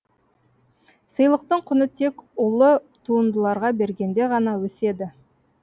сыйлықтың құны тек ұлы туындыларға бергенде ғана өседі